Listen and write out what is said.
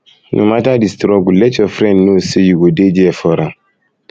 no matter di struggle let your friend know say you go dey there for am